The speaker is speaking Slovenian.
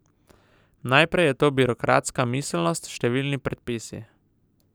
Najprej je to birokratska miselnost, številni predpisi.